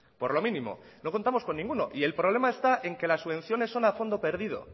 por lo mínimo no contamos con ninguno y el problema está en que las subvenciones son a fondo perdido